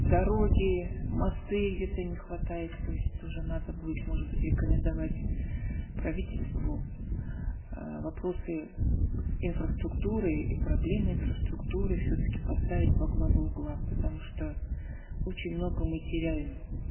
дороги мосты где то не хватает то есть тоже надо будет может быть рекомендовать правительству э вопросы инфраструктуры и проблем инфраструктуры все таки поставить во главу глав потому что очень много мы теряем